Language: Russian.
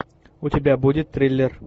у тебя будет триллер